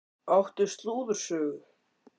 Áttu slúðursögu?